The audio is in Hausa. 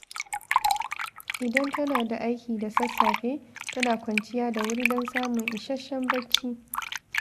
Idan tana da aiki da sassafe, tana kwanciya da wuri don samun isasshen barci.